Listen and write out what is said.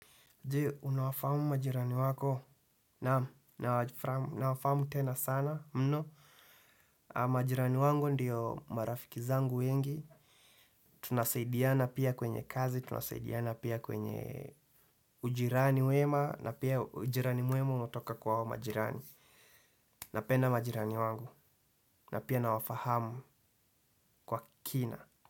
Je, unawafahamu majirani wako, naam, nawafahamu tena sana, mno, majirani wangu ndiyo marafiki zangu wengi. Tunasaidiana pia kwenye kazi, tunasaidiana pia kwenye ujirani wema, na pia ujirani mwema unatoka kwa hao majirani. Napenda majirani wangu, na pia nawafahamu kwa kina.